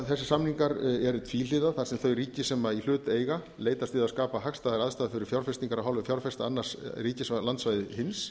þessir samningar eru tvíhliða þar sem þau ríkis á í hlut eiga leitast við að skapa hagstæðar aðstæður fyrir fjárfestingar af hálfu fjárfesta annars ríkis af landsvæði hins